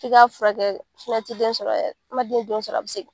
I ka furakɛ tɛ den sɔrɔ yɛrɛ den sɔrɔ a bɛ segin.